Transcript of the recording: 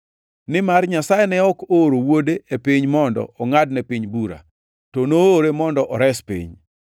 Nimar Nyasaye ne ok ooro Wuode e piny mondo ongʼad ne piny bura, to noore mondo ores piny.